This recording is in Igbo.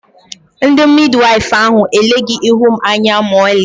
ndi Midiwaifu ahụ eleghị ihu m anya ma ọlị